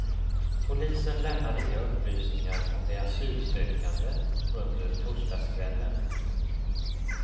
Polisen lämnade inga upplysningar om de asylsökande under torsdagskvällen.